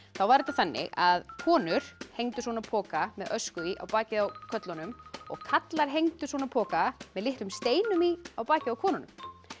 var þetta þannig að konur hengdu svona poka með ösku í á bakið á körlunum og karlar hengdu svona poka með litlum steinum í á bakið á konunum